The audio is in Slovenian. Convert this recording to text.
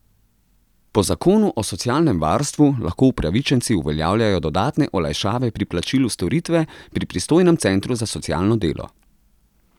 Po zakonu o socialnem varstvu lahko upravičenci uveljavljajo dodatne olajšave pri plačilu storitve pri pristojnem centru za socialno delo.